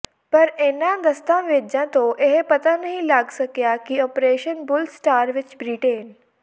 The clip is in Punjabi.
ਪਰ ਇਨ੍ਹਾਂ ਦਸਤਾਵੇਜਾਂ ਤੋਂ ਇਹ ਪਤਾ ਨਹੀਂ ਲੱਗ ਸਕਿਆ ਕਿ ਆਪ੍ਰੇਸ਼ਨ ਬਲੂ ਸਟਾਰ ਵਿੱਚ ਬ੍ਰਿਟੇਨ